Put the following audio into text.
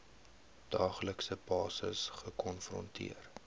daaglikse basis gekonfronteer